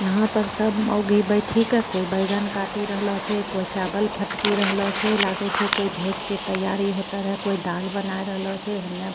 यहाँ पर सब मोगी बैठी के कोई बैंगन काटी रहलो छै कोई चावल फटकी रहलो छै लागो छै कोई भोज के तैयारी होता रे कोई दाल बनाए रहला छै हुने --